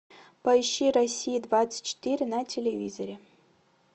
поищи россия двадцать четыре на телевизоре